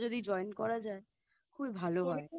যদি Join করা যায় খুবই ভালো হয়